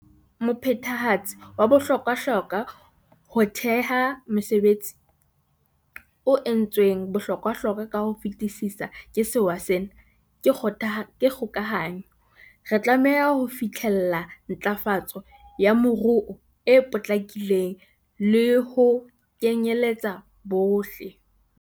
Mophethehatsi wa bohlokwahlokwa ho theha mesebetsi, o entsweng bohlokwahlokwa ka ho fetisisa ke sewa sena, ke kgokahanyo. Re tlameha ho fihlella ntlafa tso ya moruo e potlakileng le ho kenyeletsa bohle.